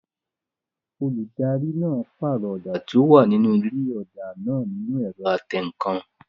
Olùdarí náà pàrọ̀ ọ̀dà tí ó wà nínú ilé ọ̀dà náà nínu ẹ̀rọ atẹǹkan